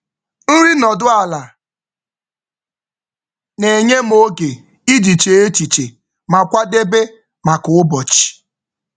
um Nri nọdụ ala na-enye m oge iji chee echiche ma kwadebe maka ụbọchị.